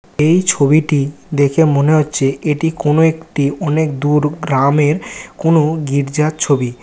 এই ছবিটি দেখে মনে হচ্ছে এটি কোন একটি অনেক দূর গ্রামের কোন গির্জার ছবি ।